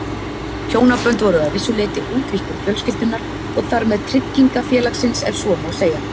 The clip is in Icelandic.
Hjónabönd voru að vissu leyti útvíkkun fjölskyldunnar og þar með tryggingafélagsins ef svo má segja.